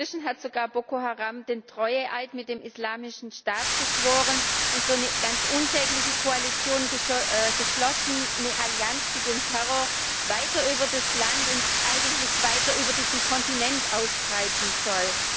Inzwischen hat sogar Boko Haram den Treueeid mit dem Islamischen Staat geschworen und so eine ganz unsägliche Koalition geschlossen eine Allianz, die den Terror weiter über das Land und eigentlich weiter über diesen Kontinent ausbreiten soll.